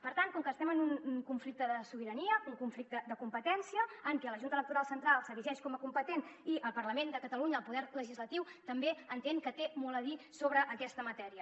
per tant com que estem en un conflicte de sobirania un conflicte de competència en què la junta electoral central s’erigeix com a competent i el parlament de catalunya el poder legislatiu també entén que té molt a dir sobre aquesta matèria